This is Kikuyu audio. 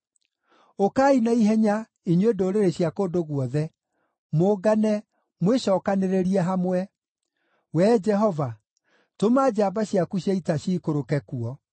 Ũkai na ihenya, inyuĩ ndũrĩrĩ cia kũndũ guothe, mũngane, mwĩcookanĩrĩrie hamwe. Wee Jehova, tũma njamba ciaku cia ita ciikũrũke kuo.